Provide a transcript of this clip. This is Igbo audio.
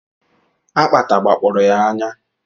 Akpata gbakpọrọ ya anya